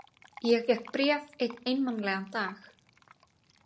Ég fékk bréf einn einmanalegan dag.